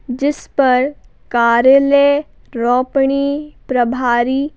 जिस पर कार्यालय रोपणी प्रभारी--